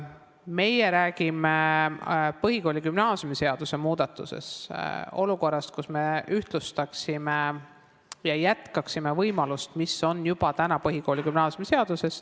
Meie räägime põhikooli- ja gümnaasiumiseaduse muudatuses olukorrast, kus me ühtlustaksime võimalusi ja jätkaksime võimalust, mis juba on põhikooli- ja gümnaasiumiseaduses.